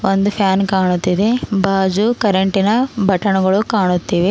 ಒಂದು ಫ್ಯಾನ್ ಕಾಣುತ್ತಿವೆ ಬಾಜು ಕರೆಂಟಿನ ಬಟನ್ನುಗಳು ಕಾಣುತ್ತಿವೆ.